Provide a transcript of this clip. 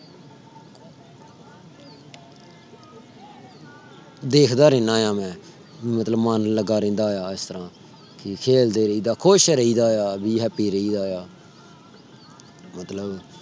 ਦੇਖਦਾ ਰਹਿਣਾ ਆ ਮੈਂ ਮਤਲਬ ਮਨ ਲਗਾ ਰਹਿਦਾ ਇਸ ਤਰ੍ਹਾਂ ਖੇਲਦੇ ਰਹੀ ਦਾ ਖੁਸ਼ ਰਹੀ ਦਾ ਆ be happy ਰਹੀ ਦਾ ਆ। ਮਤਲਬ